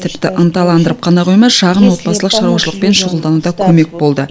тіпті ынталандырып қана қоймай шағын отбасылық шаруашылықпен шұғылдануда көмек болды